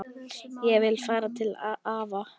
Ég vil fara til afa